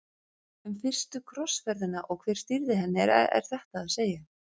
Um fyrstu krossferðina og hver stýrði henni er þetta að segja.